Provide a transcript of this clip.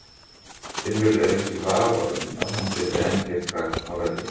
Finnur er ekki í vafa um að hann gæti enn gert gagn á vellinum.